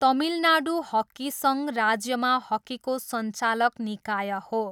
Tamil Nadu hockey सङ्घ राज्यमा हकीको सञ्चालक निकाय हो।